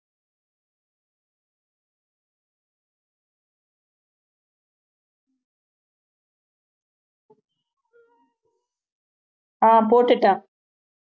அஹ் போட்டுட்டேன்